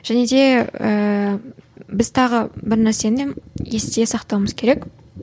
және де ііі біз тағы бір нәрсені есте сақтауымыз керек